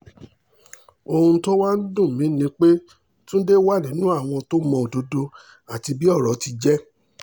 ohun tó wá ń dùn mí ni pé túnde wà nínú àwọn tó mọ òdodo àti bí ọ̀rọ̀ ti jẹ́